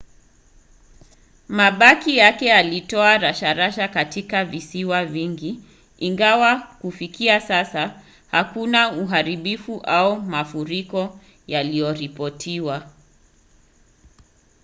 mabaki yake yalitoa rasharasha katika visiwa vingi ingawa kufikia sasa hakuna uharibifu au mafuriko yaliyoripotiwa